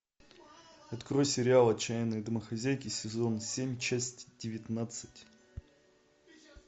открой сериал отчаянные домохозяйки сезон семь часть девятнадцать